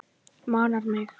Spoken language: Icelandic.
Manar mig.